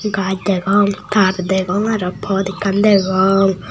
gaj degong tar degong aro pot ekkan degong.